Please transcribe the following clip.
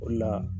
O de la